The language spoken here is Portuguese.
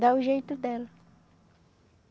Dar o jeito dela.